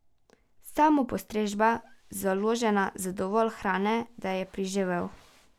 Samopostrežba, založena z dovolj hrane, da je preživel.